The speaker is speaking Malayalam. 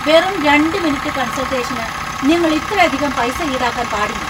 വെറും രണ്ട് മിനിറ്റ് കൺസൾട്ടേഷന് നിങ്ങൾ ഇത്രയധികം പൈസ ഈടാക്കാൻ പാടില്ല !